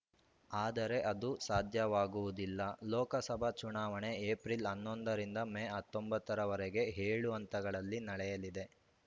ಆದರೆ ಅದು ಸಾಧ್ಯವಾಗುವುದಿಲ್ಲ ಲೋಕಸಭಾ ಚುನಾವಣೆ ಏಪ್ರಿಲ್ ಹನ್ನೊಂದ ರಿಂದ ಮೇ ಹತ್ತೊಂಬತ್ತು ರವರೆಗೆ ಏಳು ಹಂತಗಳಲ್ಲಿ ನಡೆಯಲಿದೆ